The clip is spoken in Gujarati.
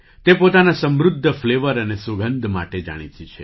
તે પોતાના સમૃદ્ધ ફ્લેવર અને સુગંધ માટે જાણીતી છે